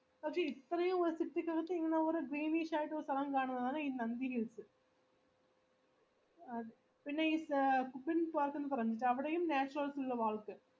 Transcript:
പക്ഷെ ഇത്രേം city ക്കകത്ത് ഇങ്ങനെ ഒരു greenish ആയിട്ടുള്ള സ്ഥലം കാണുന്നതാണ് ഈ നന്ദി hills അത് പിന്നെ ഈ പറയുന്നത് അവിടെയും natural